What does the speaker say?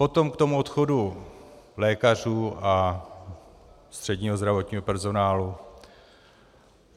Potom k tomu odchodu lékařů a středního zdravotního personálu.